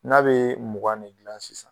N'a bɛ mugan ne dilan sisan